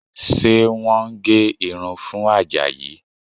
Ṣé wọ́n ń gé irun fún Àjàyí?